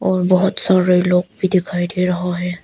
और बहोत सारे लोग भी दिखाई दे रहा है।